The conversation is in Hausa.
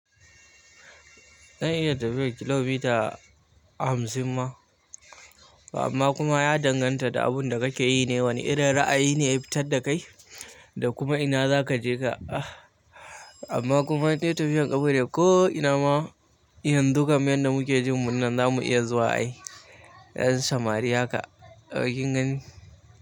Zan iya tafiyar kilomita hamsin ma, amma kuma ya danganta da abin da kake yi ne, wane irin ra'ayi ne ya fitar da kai da kuma ina za ka je ka. Amma kuma indai tafiyar ƙafa ne ko ina ma, yanxu kam yadda da muke jin mun nan za mu iya zuwa ai. Ƴan samari haka, ai kin gani.